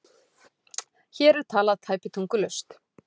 Hér er talað tæpitungulaust